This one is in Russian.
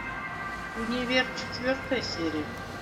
универ четвертая серия